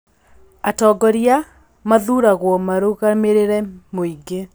Atongoria mathuragũo marũgamĩrĩre mũingĩ .